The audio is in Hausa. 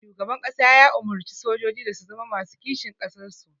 Shugaban ƙasa ya umurci sojoji da su zama masu kishin ƙasar su